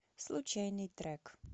случайный трек